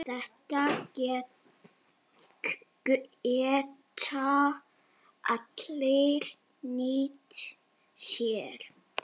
Þetta geta allir nýtt sér.